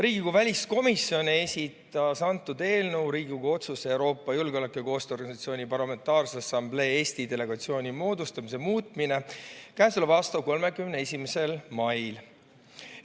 Riigikogu väliskomisjon esitas selle eelnõu, "Riigikogu otsuse "Euroopa Julgeoleku- ja Koostööorganisatsiooni Parlamentaarse Assamblee Eesti delegatsiooni moodustamine" muutmine" k.a 31. mail.